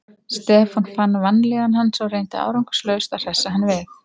Stefán fann vanlíðan hans og reyndi árangurslaust að hressa hann við.